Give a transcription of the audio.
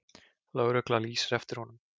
Lögregla lýsir eftir honum.